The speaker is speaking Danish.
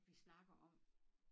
Vi snakker om